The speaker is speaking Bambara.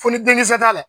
Foli denkisɛ t'a la